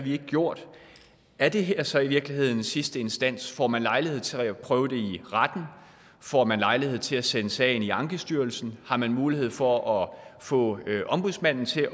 ikke gjort er det her så i virkeligheden sidste instans får man lejlighed til at prøve det i retten får man lejlighed til at sende sagen i ankestyrelsen har man mulighed for at få ombudsmanden til